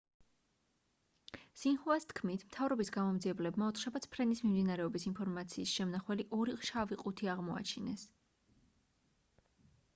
სინჰუას თქმით მთავრობის გამომძიებლებმა ოთხშაბათს ფრენის მიმდინარეობის ინფორმაციის შემნახველი ორი შავი ყუთი აღმოაჩინეს